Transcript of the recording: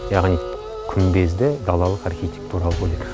яғни күмбезді далалық архитектуралық өнер